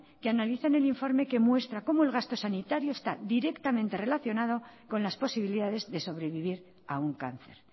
que analiza en el informe que muestra cómo el gasto sanitario está directamente relacionado con las posibilidades de sobrevivir a un cáncer